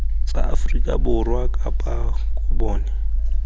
tsa aforika borwa kapa bokone